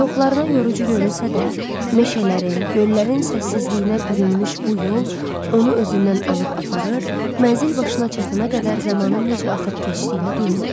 Çoxlarına yorucu görünsə də, meşələrin, göllərin səssizliyinə bürünmüş bu yol onu özündən alıb aparır, mənzil başına çatana qədər zamanın necə axıb keçdiyini duymurdu.